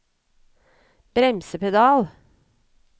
bremsepedal